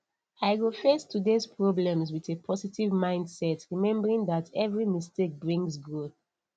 i go face todays problems with a positive mindset remembering that every mistake brings growth